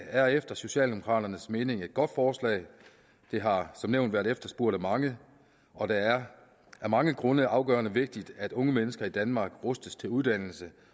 er efter socialdemokraternes mening et godt forslag det har som nævnt været efterspurgt af mange og det er af mange grunde afgørende vigtigt at unge mennesker i danmark rustes til uddannelse